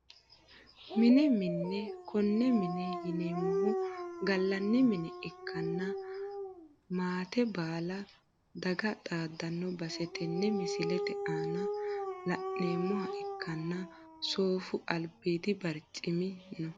Mine mine kone mine yineemohu galani mine ikana maate baala dage xaadano base tene misilete aana la`neemoha ikanna soofu albiidi barcimi no.